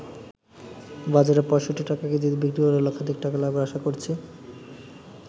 বাজারে ৬৫ টাকা কেজিতে বিক্রি করে লক্ষাধিক টাকা লাভের আশা করছি।